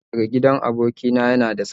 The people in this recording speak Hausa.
Soket daga gidan abokina yana da tsada sosai